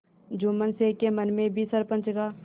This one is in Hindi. जुम्मन शेख के मन में भी सरपंच का